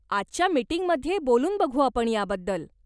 आजच्या मिटिंगमध्ये बोलून बघू आपण याबद्दल.